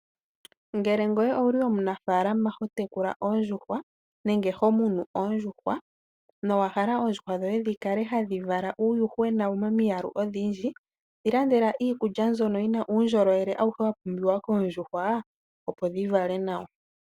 Ngele ngoye owuli omunafaalama hotekula oondjuhwa nenge homunu oondjuhwa nowa hala oondjuhwa dhoye dhikale hadhi vala uuyuhwena momiyalu odhindji. Dhilandela iikulya mbyono yina uundjolowele awuhe wapumbiwa koondjuhwa opo dhivale nawa.